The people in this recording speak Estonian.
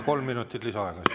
Kolm minutit lisaaega.